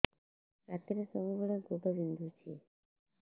ରାତିରେ ସବୁବେଳେ ଗୋଡ ବିନ୍ଧୁଛି